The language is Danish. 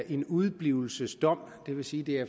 en udeblivelsesdom det vil sige det